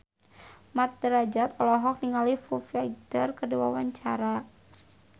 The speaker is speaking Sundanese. Mat Drajat olohok ningali Foo Fighter keur diwawancara